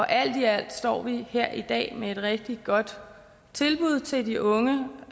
alt i alt står vi her i dag med et rigtig godt tilbud til de unge